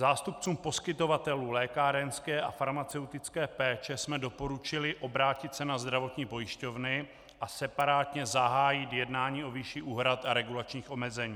Zástupcům poskytovatelů lékárenské a farmaceutické péče jsme doporučili obrátit se na zdravotní pojišťovny a separátně zahájit jednání o výši úhrad a regulačních omezení.